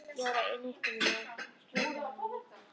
Ég var á nippinu með að skjóta hana líka.